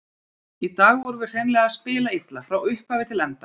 Í dag vorum við hreinlega að spila illa, frá upphafi til enda.